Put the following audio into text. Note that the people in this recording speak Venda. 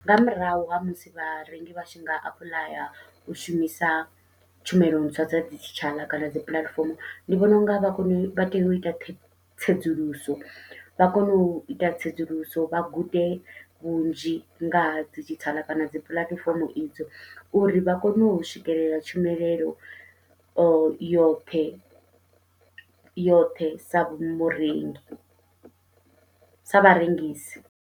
Nga murahu ha musi vharengi vha tshi nga apuḽaya u shumisa tshumelo ntswa dza didzhithala kana dzi puḽatifomo, ndi vhona unga vha kone u vha tea uita tsedzuluso vha kone uita tsedzuluso vha gude vhunzhi nga ha didzhithala kana dzi puḽatifomo idzo, uri vha kone u swikelela tshumelelo yoṱhe yoṱhe sa vhu murengi sa vharengisi.